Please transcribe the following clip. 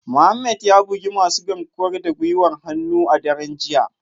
Mohammed ya bugi masu garkuwar da gwiwar hannu a daren jiya